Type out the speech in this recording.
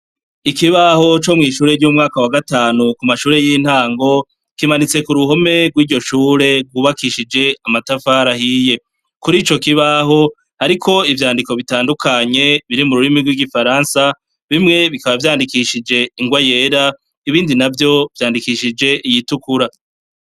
Ikibaho co mw'ishure ry'umwaka wa gatanu mu mashure y'intango, kimanitse ku ruhome rw'iryo shure ryubakishije amatafari ahiye. Kuri ico kibaho hariko ivyandiko bitandukanye biri mu rurimi rw'igifaransa, bimwe bikaba vyandikishije ingwa yera, ibindi navyo vyandikishije iyitukura.